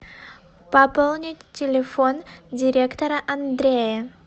пополнить телефон директора андрея